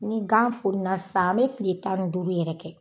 Ni gan foni sisan an be kile tan ni duuru yɛrɛ kɛ